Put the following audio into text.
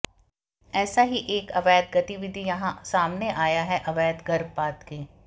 ऐसी ही एक अवैध गतिविधि यहां सामने आयी है अवैध गर्भपात की